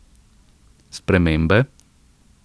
Spremembe?